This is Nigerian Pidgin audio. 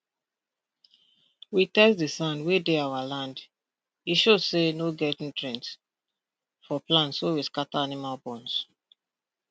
we test de sand wey dey our land e show say no get nutrient for plants so we scatter animal bones